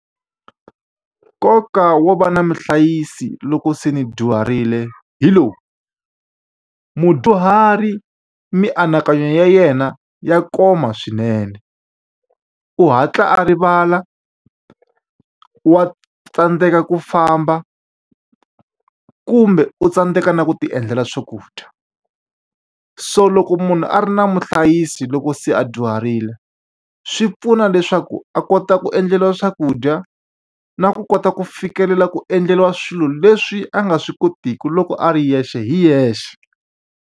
Nkoka wo va na muhlayisi loko se ni dyuharile hi lowu. Mudyuhari mianakanyo ya yena ya koma swinene, u hatla a rivala, wa tsandzeka ku famba, kumbe u tsandzeka na ku ti endlela swakudya. So loko munhu a ri na muhlayisi loko se a dyuharile, swi pfuna leswaku a kota ku endleriwa swakudya, na ku kota ku fikelela ku endleriwa swilo leswi a nga swi kotiki loko a ri yexe hi yexe.